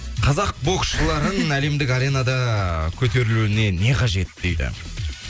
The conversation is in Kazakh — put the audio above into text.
қазақ боксшыларын әлемдік аренада ыыы көтерілуіне не қажет дейді